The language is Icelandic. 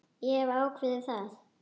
Ég hef ákveðið það.